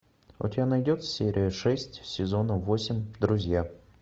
у тебя найдется серия шесть сезона восемь друзья